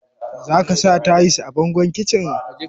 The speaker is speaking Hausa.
Za ka sa tayis a bangon kicin?